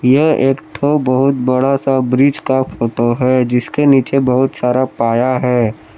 यह एक ठो बहुत बड़ा सा ब्रिज का फोटो है जिसके नीचे बहुत सारा पाया है।